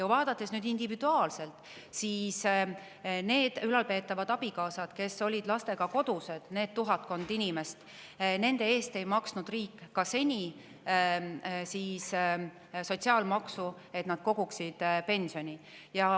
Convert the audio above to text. Vaadates individuaalselt, nende ülalpeetavate abikaasade, tuhatkonna inimese eest, kes olid lastega kodused, ei maksnud riik seni ka sotsiaalmaksu, mille kaudu nad oleksid saanud koguda pensioni.